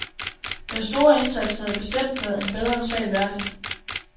Den store indsats havde bestemt været en bedre sag værdig.